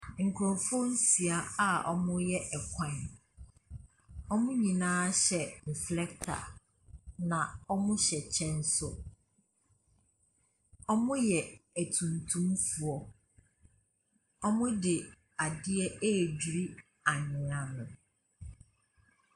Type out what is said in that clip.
Nkurɔfoɔ nsia a wɔreyɛ kwan, wɔn nyinaa hyɛ reflector, na wɔhyɛ kyɛ nso. Wɔyɛ atuntumfoɔ, wɔde adeɛ ɛredwiri anwea no.